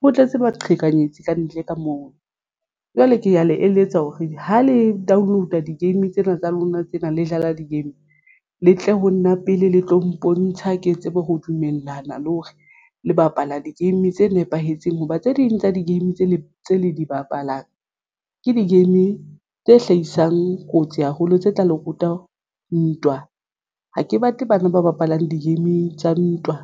Ho tletse baqhekanyetsi kantle ka moo jwale ke ya le eletsa hore ha le download-a di-game tsena tsa lona tsena le dlala di-game le tle ho nna pele le tlo mpontsha ke tsebe ho dumellana le hore le bapala di-game tse nepahetseng hoba tse ding tsa di-game tse le tse le di bapalang ke di-game tse hlahisang kotsi haholo tse tla le ruta ntwa ha ke batle bana ba bapalang di-game tsa ntwa